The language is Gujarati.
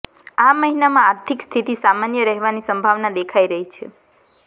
આ મહિનામાં આર્થિક સ્થિતિ સામાન્ય રહેવાની સંભાવના દેખાઈ રહી છે